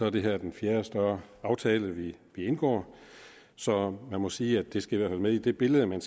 at det her er den fjerde større aftale vi indgår så jeg må sige at det skal med i det billede man